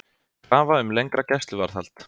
Krafa um lengra gæsluvarðhald